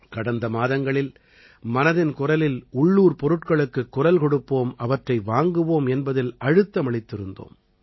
கடந்த மாதங்களில் மனதின் குரலில் உள்ளூர் பொருட்களுக்குக் குரல் கொடுப்போம் அவற்றை வாங்குவோம் என்பதில் அழுத்தமளித்திருந்தோம்